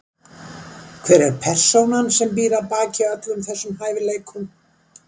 Hver er persónan sem býr að baki öllum þessum hæfileikum?